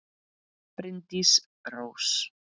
Bryndís Rós.